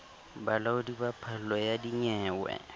bolaodi ba phallo ya dinyewe